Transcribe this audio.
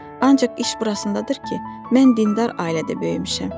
Ancaq iş burasındadır ki, mən dindar ailədə böyümüşəm.